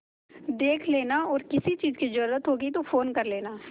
देख लेना और किसी चीज की जरूरत होगी तो फ़ोन कर लेना